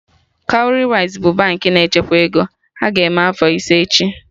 Cowrywise bụ Baankị na-echekwa ego, ha ga-eme afọ ise echi